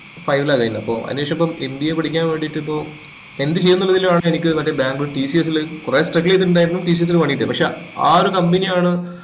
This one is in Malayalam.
five ല കഴിഞ്ഞത് അപ്പൊ അയിനുശേഷം ഇപ്പൊ ഹിന്ദി പഠിക്കാൻ വേണ്ടിറ്റ് എന്ത് ചെയ്യുംന്ന് ഉള്ളത്തിലാണ് എനിക്ക് മറ്റേ ബാംഗ്ലൂർ tcs ല് കൊറേ struggle ച്യ്തിട്ടിണ്ടായിരുന്നു TCS ല് പണി കിട്ടിയത് പക്ഷെ അഹ് ഒരു company യാണ്